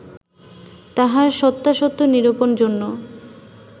তাহার সত্যাসত্য নিরূপণ জন্য